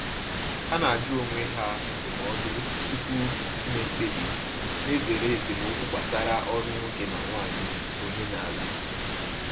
Ha na-ajụ onwe ha ndụmọdụ tupu ime mkpebi, na-ezere esemokwu gbasara ọrụ nwoke na nwanyị omenala.